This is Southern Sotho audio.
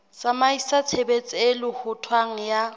tsamaisa tshebetso e lohothwang ya